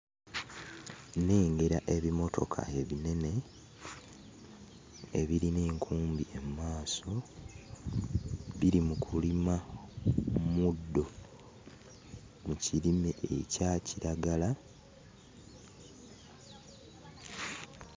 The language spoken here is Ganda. Nnengera ebimotoka ebinene ebirina enkumbi emmaaso. Biri mu kulima muddo mu kirime ekya kiragala.